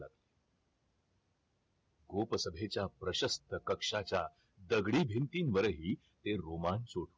गोप सभेच्या प्रशस्थ कक्षाच्या दगडी भिंतीवरही ते रोमांच